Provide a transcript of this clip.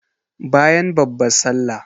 Bayan babban sallah